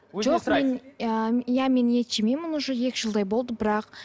жоқ мен ыыы иә мен ет жемеймін уже екі жылдай болды бірақ